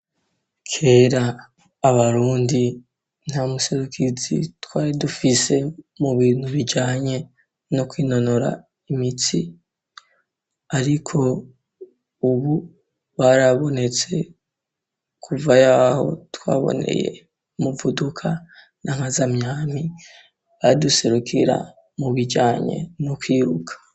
Kera abarundi nta muserukizi twari dufise mu bintu bijanye no kwinonora imitsi, ariko, ubu barabonetse kuva yaho twaboneye muvuduka n'amazamyami baduserukira mu bijanye niukwiruka.